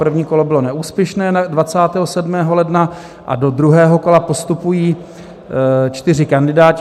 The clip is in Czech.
První kolo bylo neúspěšné 27. ledna a do druhého kola postupují čtyři kandidáti.